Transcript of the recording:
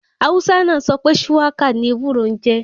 Hausa náà sọ wípé Shuwaka ni ewúro n jẹ́.